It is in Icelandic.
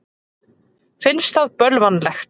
Finnst það bölvanlegt.